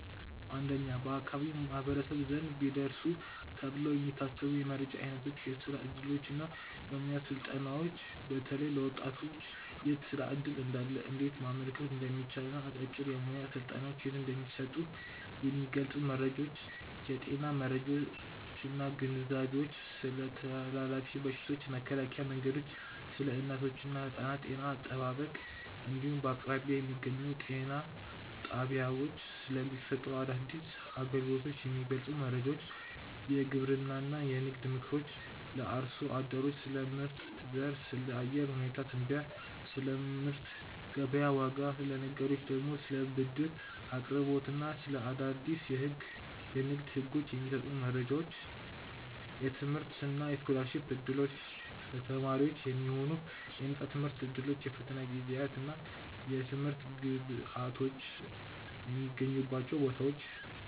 1. በአካባቢው ማኅበረሰብ ዘንድ ቢደርሱ ተብለው የሚታሰቡ የመረጃ ዓይነቶች የሥራ ዕድሎችና የሙያ ሥልጠናዎች፦ በተለይ ለወጣቶች የት የሥራ ዕድል እንዳለ፣ እንዴት ማመልከት እንደሚቻልና አጫጭር የሙያ ሥልጠናዎች የት እንደሚሰጡ የሚገልጹ መረጃዎች። የጤና መረጃዎችና ግንዛቤዎች፦ ስለ ተላላፊ በሽታዎች መከላከያ መንገዶች፣ ስለ እናቶችና ሕፃናት ጤና አጠባበቅ እንዲሁም በአቅራቢያ በሚገኙ ጤና ጣቢያዎች ስለሚሰጡ አዳዲስ አገልግሎቶች የሚገልጹ መረጃዎች። የግብርናና የንግድ ምክሮች፦ ለአርሶ አደሮች ስለ ምርጥ ዘር፣ ስለ አየር ሁኔታ ትንበያና ስለ ምርት ገበያ ዋጋ፤ ለነጋዴዎች ደግሞ ስለ ብድር አቅርቦትና ስለ አዳዲስ የንግድ ሕጎች የሚሰጡ መረጃዎች። የትምህርትና የስኮላርሺፕ ዕድሎች፦ ለተማሪዎች የሚሆኑ የነፃ ትምህርት ዕድሎች፣ የፈተና ጊዜያትና የትምህርት ግብዓቶች የሚገኙባቸው ቦታዎች።